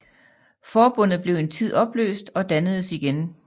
Forbundet blev en tid opløst og dannedes igen